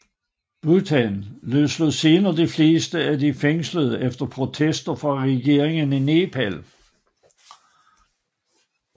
Bhutan løslod senere de fleste af de fængslede efter protester fra regeringen i Nepal